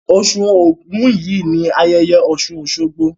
Osù Ògún yìí ni ayẹyẹ Ọ̀ṣùn Òṣogbo.